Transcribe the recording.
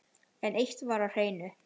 En eitt var á hreinu.